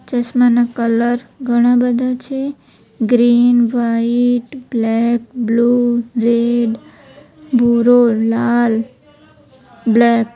ચશ્માના colour ઘણા બધા છે green white black blue red ભૂરો લાલ બ્લેક .